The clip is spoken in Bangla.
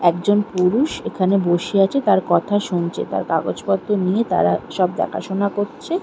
একজন পুরুষ এখানে বসে আছে তার কথা শুনছে তার কাগজপত্র নিয়ে তারা সব দেখাশোনা করছে-এ।